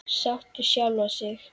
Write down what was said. Sátt við sjálfa sig.